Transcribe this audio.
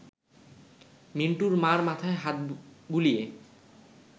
মিন্টুর মা’র মাথায় হাত বুলিয়ে